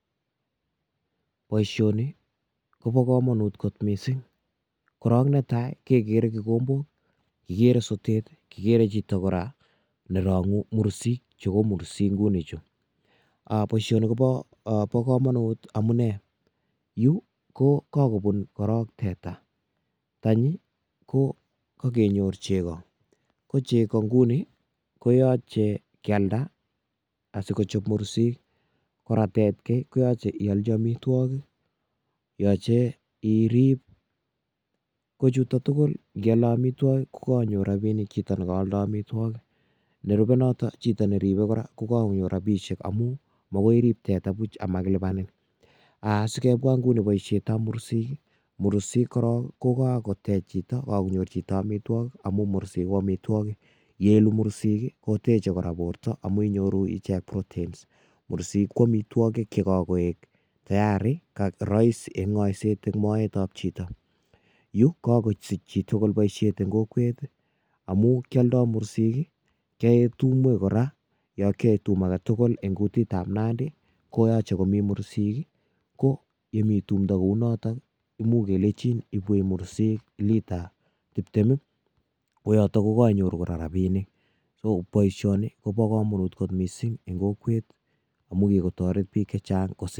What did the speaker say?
Boisioni kobo kamanut kot mising, korok netai ii, kekere kikombok, kikere sotet ii, kikere chito kora ne rangu mursik, chu ko mursik nguni chu ,um boisioni kobo kamanut amune, yu ko kakobun korok teta, tanyi ko kakenyor chego, ko chego nguni koyoche kyalde asikochop mursik, kora tetkei koyoche iyolchi amitwogik, yoche irip, ko chuto tugul ngiale amitwogik ko kakonyor rabiinik chito nealdoi amitwogik, nerube notok chito neribe kora ko kakonyor rabiisiek amu makoi irip teta buch amakilipanin. um Sikebwa nguni boisietab mursik ii, mursik korok ko kakotech chito, kakonyor chito amitwogik amu mursik ko amitwogik, ye ilu mursik ii, koteche kora borta amu inyoru ichek proteins, mursik ko amitwogik che kakoek tayari, rahisi eng ngoiset eng moetab chito, yu kakosich chitugul boisiet eng kokwet ii, amu kioldoi mursik ii, kyoe tumwek kora, yo kyae tum ake tugul eng kutitab Nandi, koyoche komi mursik ii, ko yemi tumdo kounotok ii, imuch kelechin ibwech mursik lita tiptem ii, koyoto ko kainyoru kora rabiinik, so boisioni kobo kamanut kot mising eng kokwet ii amu kikotoret piik che chang...